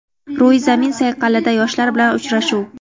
Ro‘yi zamin sayqalida yoshlar bilan uchrashuv.